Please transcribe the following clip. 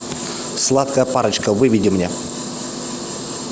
сладкая парочка выведи мне